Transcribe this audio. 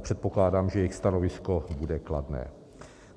předpokládám, že jejich stanovisko bude kladné.